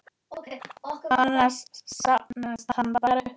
Annars safnast hann bara upp.